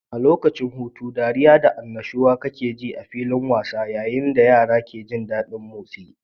A lokacin hutu, dariya da annashuwa kakeji a filin wasan yayin da yara ke jin daɗin motsi.